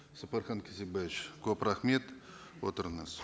сапархан кесікбаевич көп рахмет отырыңыз